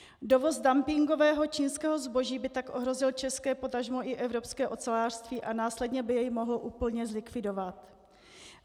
Dovoz dumpingového čínského zboží by tak ohrozil české, potažmo i evropské ocelářství a následně by jej mohl úplně zlikvidovat.